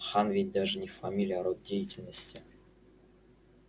хан ведь даже не фамилия а род деятельности